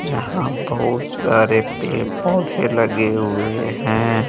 यहां बहुत सारे पेड़ पौधे लगे हुए हैं।